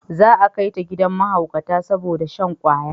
Za a kai ta gidan mahaukata saboda shan kwaya